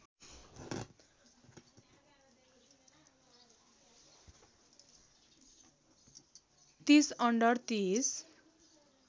३० under ३०